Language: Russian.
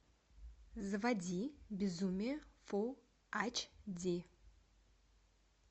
заводи безумие фул ач ди